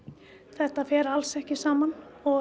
þetta fer alls ekki saman og